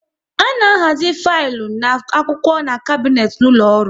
A na ahazi filu na akwụkwọ n'kabnet n'ụlọ ọrụ